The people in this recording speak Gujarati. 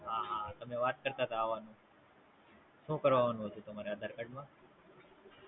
હા હા તેમ વાત કરતાં તા આવવા નું. શું કરવા આવવાનું હતું તમારે આધાર કાર્ડ માં